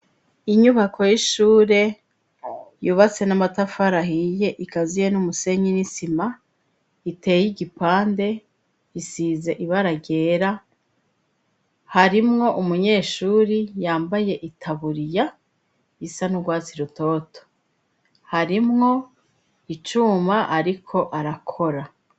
Inyubako y'ishure yubatse n'amatafari ahiye ikaziye n'umusenyi n'isima iteye igipande isize ibara ryera harimwo umunyeshuri yambaye itaburiya isa n'ugwatsi rutoto harimwo icuma ariko arakora.